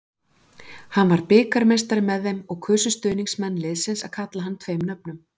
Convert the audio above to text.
Hann varð bikarmeistari með þeim og kusu stuðningsmenn liðsins að kalla hann tveim nöfnum.